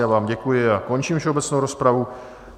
Já vám děkuji a končím všeobecnou rozpravu.